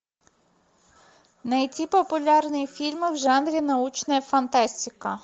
найти популярные фильмы в жанре научная фантастика